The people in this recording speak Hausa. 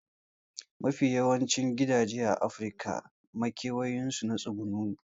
Mafi yawancin gidaje a afirika a makewayin su na tsuguno ne